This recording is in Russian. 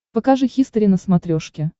покажи хистори на смотрешке